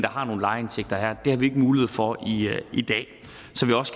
har nogle lejeindtægter her det har vi ikke mulighed for i dag